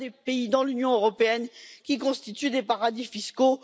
Il y a des pays dans l'Union européenne qui constituent des paradis fiscaux.